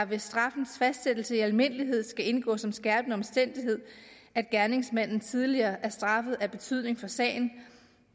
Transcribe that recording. ved straffens fastsættelse i almindelighed skal indgå som en skærpende omstændighed at gerningsmanden tidligere er straffet af betydning for sagen